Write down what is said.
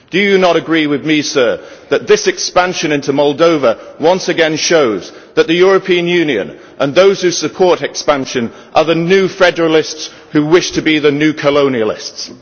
Do you not agree with me, Sir, that this expansion into Moldova once again shows that the European Union and those who support expansion are the new federalists who wish to be the new colonialists?